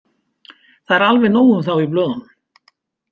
Það er alveg nóg um þá í blöðunum.